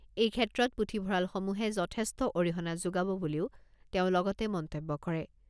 এই ক্ষেত্ৰত পুথিভঁৰালসমূহে যথেষ্ট অৰিহণা যোগাব বুলিও তেওঁ লগতে মন্তব্য কৰে।